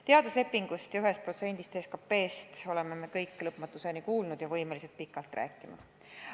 Teaduslepingust ja 1%-st SKP-st oleme kõik lõpmatuseni kuulnud ja võimelised pikalt rääkima.